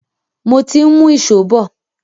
Mo ti ń mú ìṣó bọ̀.